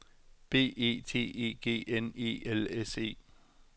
B E T E G N E L S E